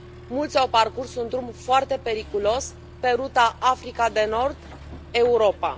Mulți au parcurs un drum foarte periculos pe ruta Africa de Nord Europa.